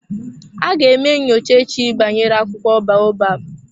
Aga eme nyocha echi banyere akwụkwọ baobab.